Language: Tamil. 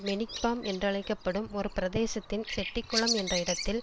மெனிக் பார்ம் என்றழைக்க படும் ஒரு பிரதேசத்தின் செட்டிக்குளம் என்ற இடத்தில்